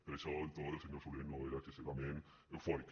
per això el to del senyor solé no era excessivament eufòric